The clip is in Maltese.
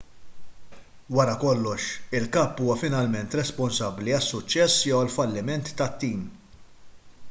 wara kollox il-kap huwa finalment responsabbli għas-suċċess jew għall-falliment tat-tim